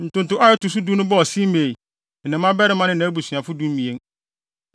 Ntonto a ɛto so du no bɔɔ Simei, ne ne mmabarima ne nʼabusuafo (12)